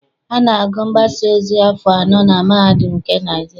A na-agụ mgbasaozi afọ anọ na mahadum nke Naịjirịa.